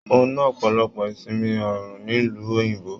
Mo na ọpọlọpọ ìsinmi oòrùn nílu òyìnbó.